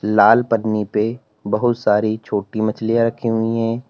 लाल पन्नी पे बहुत सारी छोटी मछलियां रखी हुई हैं।